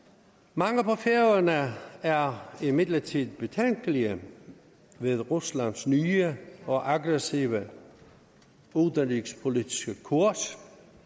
mange på færøerne er imidlertid betænkelige ved ruslands nye og aggressive udenrigspolitiske kurs